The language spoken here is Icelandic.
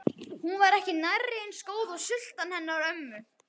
Hún var ekki nærri eins góð og sultan hennar ömmu.